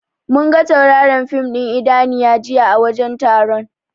Munga tauraron fin ɗin Idaniya jiya a wajen taron.